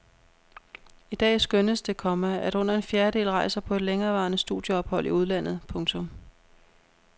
I dag skønnes det, komma at under en fjerdedel rejser på et længerevarende studieophold i udlandet. punktum